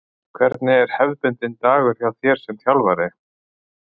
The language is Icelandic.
Hvernig er hefðbundinn dagur hjá þér sem þjálfari?